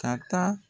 Ka taa